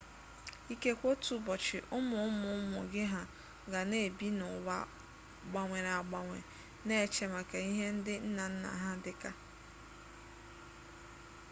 ikekwe otu ụbọchị ụmụ ụmụ ụmụ gị ha ga na-ebi n'ụwa gbanwere agbanwe na-eche maka ihe ndị nna nna ha dị ka